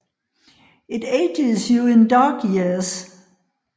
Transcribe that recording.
It ages you in dog years